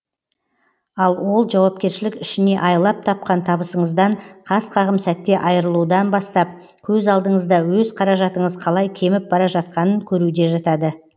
ал ол жауапкершілік ішіне айлап тапқан табысыңыздан қас қағым сәтте айырылудан бастап көз алдыңызда өз қаражатыңыз қалай кеміп бара жатқанын көруде жатады